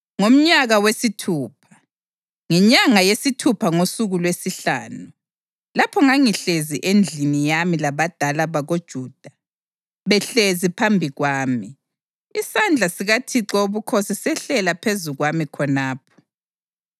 Ngomnyaka wesithupha, ngenyanga yesithupha ngosuku lwesihlanu, lapho ngangihlezi endlini yami labadala bakoJuda behlezi phambi kwami, isandla sikaThixo Wobukhosi sehlela phezu kwami khonapho.